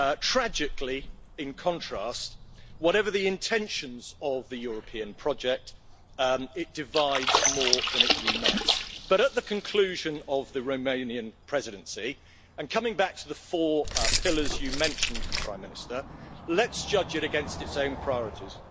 Tragically, in contrast, whatever the intentions of the European project, it divides more than it unites. But at the conclusion of the Romanian Presidency, and coming back to the four pillars, you mentioned, Prime Minister, let's judge it against its own priorities.